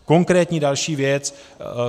Konkrétní další věc.